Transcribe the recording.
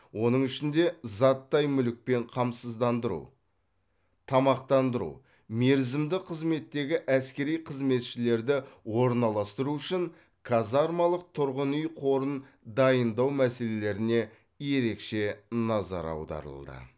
оның ішінде заттай мүлікпен қамсыздандыру тамақтандыру мерзімді қызметтегі әскери қызметшілерді орналастыру үшін казармалық тұрғын үй қорын дайындау мәселелеріне ерекше назар аударылды